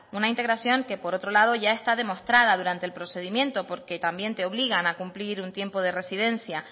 una integración que por otro lado ya está demostrada durante el procedimiento porque también te obligan a cumplir un tiempo de residencia